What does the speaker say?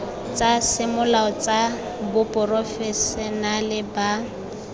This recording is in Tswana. tsa semolao tsa baporofešenale ba